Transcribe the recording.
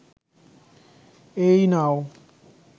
এই নাও